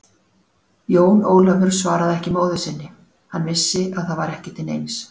Jón Ólafur svaraði ekki móður sinni, hann vissi að það var ekki til neins.